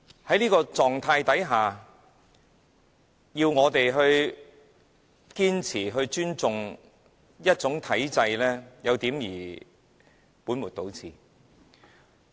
在這種情況下，要我們堅持尊重某種體制，有點兒本末倒置。